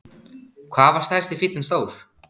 Hvað var stærsti fíllinn stór?